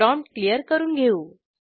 prompt clear करून घेऊ